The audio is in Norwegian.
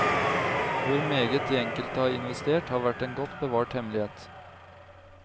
Hvor meget de enkelte har investert, har vært en godt bevart hemmelighet.